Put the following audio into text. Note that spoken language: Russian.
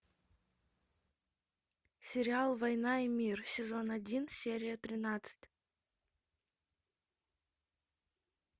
сериал война и мир сезон один серия тринадцать